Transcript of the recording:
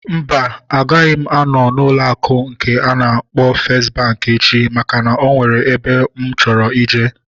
Mba, agaghị m anọ n'ụlọ akụ nke a na-akpọ festi bankị echi maka na o nwere ebe mụ chọrọ ije